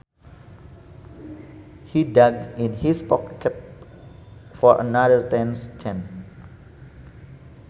He dug in his pocket for another ten cents